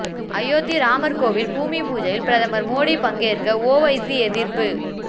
அயோத்தி ராமர் கோவில் பூமி பூஜையில் பிரதமர் மோடி பங்கேற்க ஓவைசி எதிர்ப்பு